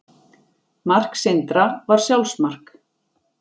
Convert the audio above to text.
Mark Sindra var sjálfsmark.